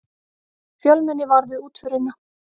Fjölmenni var við útförina